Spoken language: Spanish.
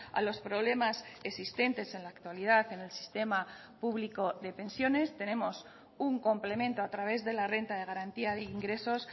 a los problemas existentes en la actualidad en el sistema público de pensiones tenemos un complemento a través de la renta de garantía de ingresos